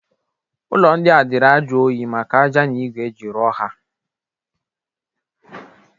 Ụlọ ndịa dịri ajụ onyi maka aja na igu eji rụọ ha.